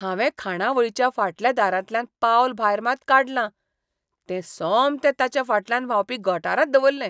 हांवें खाणावळीच्या फाटल्या दारांतल्यान पावल भायर मात काडलां, तें सोमतें ताचे फाटल्यान व्हांवपी गटारांत दवरलें.